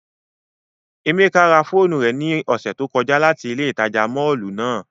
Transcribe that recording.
Emeka ra foonu re ni ose to koja lati ile itaja mọllu nàa